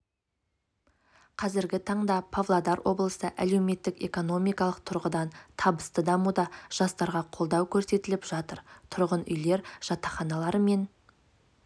қазіргі таңда павлодар облысы әлеуметтік-экономикалық тұрғыдан табысты дамуда жастарға қолдау көрсетіліп жатыр тұрғын үйлер жатақханалар мен